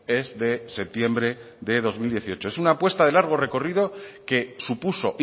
es de septiembre de dos mil dieciocho es una apuesta de largo recorrido que supuso